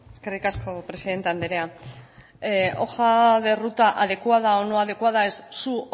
eskerrik asko presidente andrea hoja de ruta adecuada o no adecuada es su